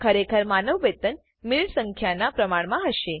ખરેખર માનદ્ વેતન મિનિટ સંખ્યાના પ્રમાણમાં હશે